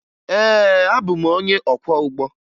Ee, abụ m onye ọkwọụgbọ